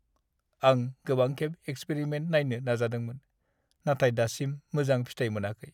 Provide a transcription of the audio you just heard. आं गोबांखेब एक्सपेरिमेन्ट नायनो नाजादोंमोन, नाथाय दासिम मोजां फिथाय मोनाखै।